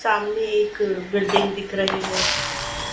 सामने एक बिल्डिंग दिख रही हैं।